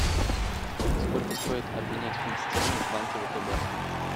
сколько стоит обменять фунт стерлингов в банке втб